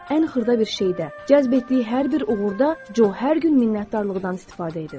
Ən xırda bir şeydə, cəzb etdiyi hər bir uğurda Co hər gün minnətdarlıqdan istifadə edir.